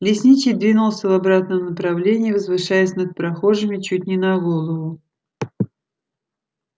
лесничий двинулся в обратном направлении возвышаясь над прохожими чуть не на голову